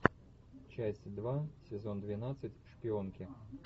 часть два сезон двенадцать шпионки